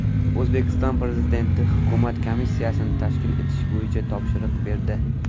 O‘zbekiston Prezidenti hukumat komissiyasini tashkil etish bo‘yicha topshiriq berdi.